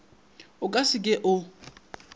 a ka se ke o